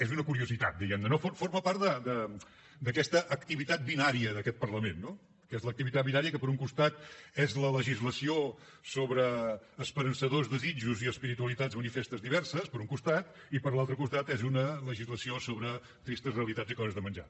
és una curiositat diguem ne no forma part d’aquesta activitat binària d’aquest parlament no que és l’activitat binària que per un costat és la legislació sobre esperançadors desitjos i espiritualitats manifestes diverses per un costat i per l’altre costat és una legislació sobre tristes realitats i coses de menjar